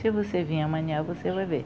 Se você vir amanhã, você vai ver.